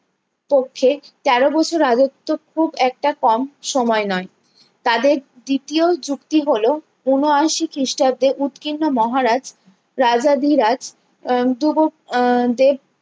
কক্ষে তেরো বছর রাজ্যত্ব খুব একটা কম সময়ে নয় তাদের দ্বিতীয় যুক্তি হলো ঊনআশি খ্রিষ্টাব্দে উৎকীর্ণ মহারাজ রাজা ধিরাজ আহ দেব